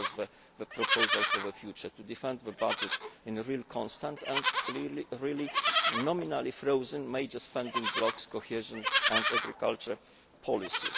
This was the real proposal for the future to defend the budget as a real constant and really nominally frozen major spending blocks cohesion and agricultural policy.